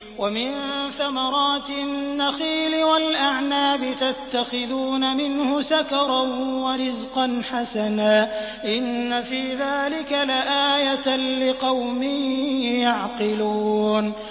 وَمِن ثَمَرَاتِ النَّخِيلِ وَالْأَعْنَابِ تَتَّخِذُونَ مِنْهُ سَكَرًا وَرِزْقًا حَسَنًا ۗ إِنَّ فِي ذَٰلِكَ لَآيَةً لِّقَوْمٍ يَعْقِلُونَ